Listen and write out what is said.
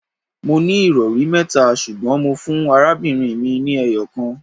Mó ní ìrọri mẹ́ta ṣùgbọ́n mó fún arábìnrin mi ni eyokan